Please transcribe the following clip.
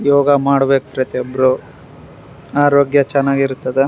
ಯೋಗ ಮಾಡ್ಬೆಕು ಪ್ರತಿಯೊಬ್ರು ಆರೋಗ್ಯ ಚೆನ್ನಾಗಿರ್ತದ .